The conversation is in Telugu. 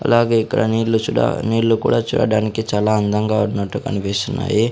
అలాగే ఇక్కడ నీళ్లు చుడా నీళ్లు కూడా చూడడానికి చాలా అందంగా ఉన్నట్టు కనిపిస్తున్నాయి.